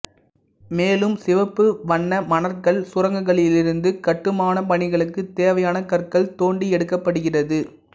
மேலும் சிவப்பு வண்ண மணற்கல் சுரங்கங்களிலிருந்து கட்டுமானப் பணிகளுக்கு தேவையான கற்கள் தோண்டி எடுக்கப்படுகிறது